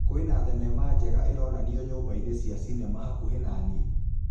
kwĩ na thenema njega ĩronanĩo nyũmba-inĩ cia cinema hakuhĩ na nĩe